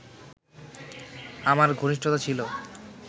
আমার ঘনিষ্ঠতা ছিল